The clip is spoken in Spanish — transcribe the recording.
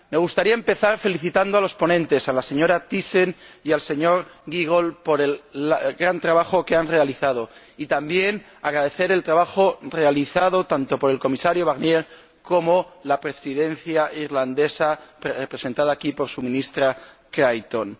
Me gustaría empezar felicitando a los ponentes, a la señora Thyssen y al señor Giegold, por el gran trabajo que han realizado y también agradecer el trabajo realizado tanto por el Comisario Barnier como por la Presidencia irlandesa, representada aquí por su ministra Creighton.